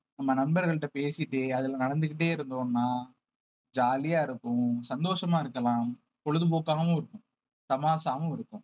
நம்ம நண்பர்கள்கிட்ட பேசிட்டு அதுல நடந்துக்கிட்டே இருந்தோம்னா jolly யா இருப்போம் சந்தோஷமா இருக்கலாம் பொழுதுபோக்காகவும் இருக்கும் தமாஷாவும் இருக்கும்